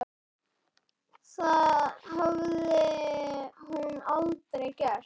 Það hafði hún aldrei gert.